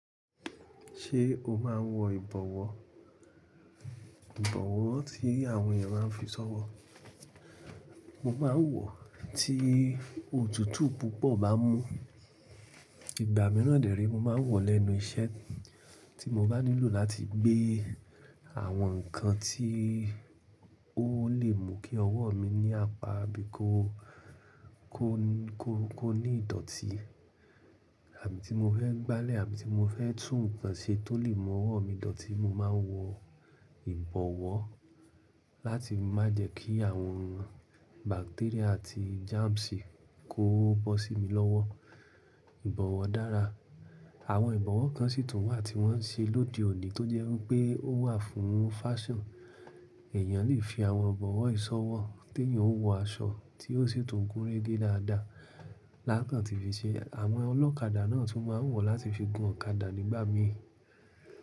Ṣé o máa n wọ ìbọ̀wọ́? Ìbọ̀wọ́ tí àwọn èèyàn máa n fi ṣọ́wọ́. Mo ma n wọ̀ tí òtútù púpọ̀ bá mú. Ìgbà mìíràn dè re, mo ma n wọ̀ lẹ́nu iṣẹ́ tí mo bá nílò láti gbé àwọn nǹkan tí ó lè mú kí ọwọ́ mi ní apá bíi kó ní ìdọ̀tí àbí ti mo fẹ́ gbálẹ̀ àbí ti mo fẹ́ tún nǹkan ṣe tó lè mú ọwọ́ mi dọ̀tí, mo ma n wọ ìbọ̀wọ́ láti má jẹ́ kí àwọn bacteria àti germs kò bó sí mi lọ́wọ́. Ìbọ̀wọ́ dára. Àwọn ìbọ̀wọ́ kan sì tún wà tí wọ́n n ṣe lóde òní tó jẹ́ wípé ó wà fún fashion. Ẹ̀eyàn lè fi àwọn ìbọ̀wọ́ yii ṣọwọ́ tí èèyàn o wọ aṣọ tí ó sì tún gun rege dáadáa lákan ti fi ṣe. Àwọn ọlọ́kadà náà tún ma ń wọ̀ láti fi gun ọ̀kadà nígbà míì.